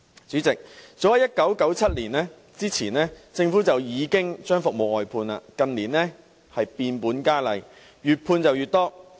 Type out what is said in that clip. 主席，早在1997年之前，政府已經將服務外判；近年變本加厲，外判越來越多。